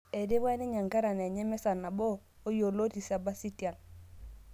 Etipika ninye ekarana enye emesa nabo oo yioloti Sebasitian